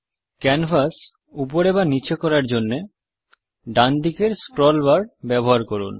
canvas উপরে বা নিচে করার জন্যে ডানদিকের স্ক্রল বার ব্যবহার করুন